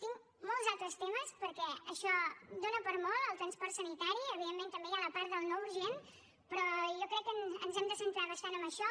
tinc molts altres temes perquè això dóna per a molt el transport sanitari evidentment també hi ha la part del no urgent però jo crec que ens hem de centrar bastant en això